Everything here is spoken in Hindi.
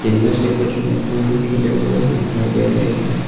इनमें से कुछ में फूल खिले हुए दिखाई दे रहे हैं।